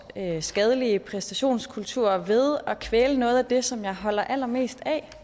skadelige præstationskultur ved at kvæle noget af det som jeg holder allermest af